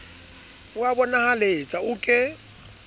o a bonahaletsa o ke